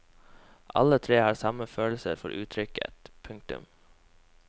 Alle tre har samme følelse for uttrykket. punktum